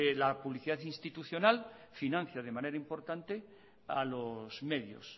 la publicidad institucional financia de manera importante a los medios